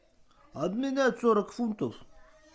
обменять сорок фунтов